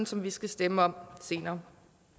som vi skal stemme om senere